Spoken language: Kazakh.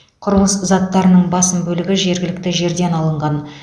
құрылыс заттарының басым бөлігі жергілікті жерден алынған